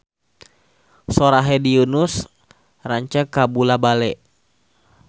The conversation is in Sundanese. Sora Hedi Yunus rancage kabula-bale